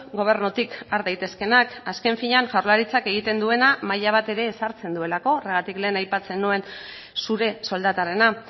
gobernutik har daitezkeenak azken finean jaurlaritzak egiten duena maila bat ere ezartzen duelako horregatik lehen aipatzen nuen zure soldatarena